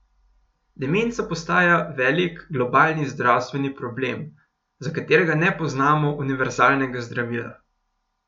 Demenca postaja velik globalni zdravstveni problem, za katerega ne poznamo univerzalnega zdravila.